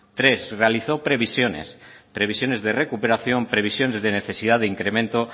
tres realizó previsiones previsiones de recuperación previsiones de necesidad de incremento